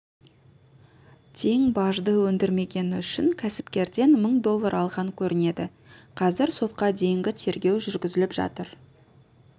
тең бажды өндірмегені үшін кәсіпкерден мың доллар алған көрінеді қазір сотқа дейінгі тергеу жүргізіліп жатыр